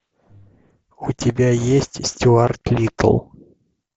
у тебя есть стюарт литтл